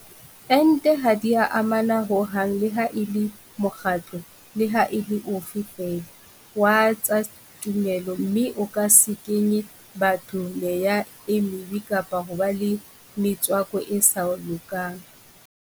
Ente ha di a amana ho hang leha e le mokgatlo leha e le ofe feela wa tsa tumelo mme e ke se kenye batho meya e mebe kapa hoba le metswako e sa lokang.